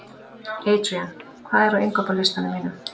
Adrían, hvað er á innkaupalistanum mínum?